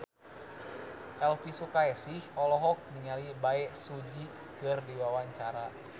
Elvi Sukaesih olohok ningali Bae Su Ji keur diwawancara